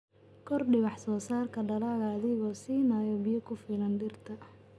Kordhi wax-soo-saarka dalagga adiga oo siinaya biyo ku filan dhirta.